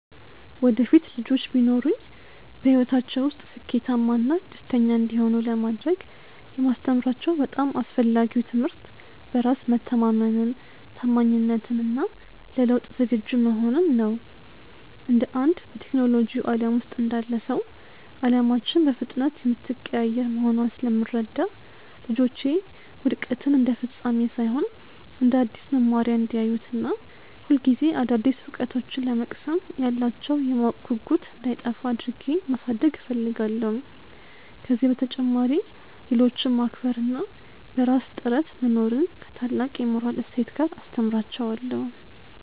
ወደፊት ልጆች ቢኖሩኝ፣ በሕይወታቸው ውስጥ ስኬታማና ደስተኛ እንዲሆኑ ለማድረግ የማስተምራቸው በጣም አስፈላጊው ትምህርት በራስ መተማመንን፣ ታማኝነትን እና ለለውጥ ዝግጁ መሆንን ነው። እንደ አንድ በቴክኖሎጂው ዓለም ውስጥ እንዳለ ሰው፣ ዓለማችን በፍጥነት የምትቀያየር መሆኗን ስለምረዳ፣ ልጆቼ ውድቀትን እንደ ፍጻሜ ሳይሆን እንደ አዲስ መማሪያ እንዲያዩት እና ሁልጊዜ አዳዲስ እውቀቶችን ለመቅሰም ያላቸው የማወቅ ጉጉት እንዳይጠፋ አድርጌ ማሳደግ እፈልጋለሁ። ከዚህ በተጨማሪ፣ ሌሎችን ማክበር እና በራስ ጥረት መኖርን ከታላቅ የሞራል እሴት ጋር አስተምራቸዋለሁ።